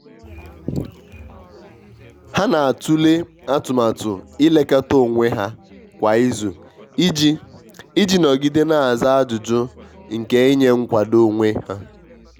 ha na'atụle atụmatụ i lekọta onwe ha kwa izu i ji i ji nọgide n'aza ajụjụ nke inye nkwado onwe ha.